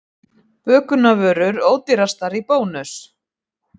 Bökunarvörur ódýrastar í Bónus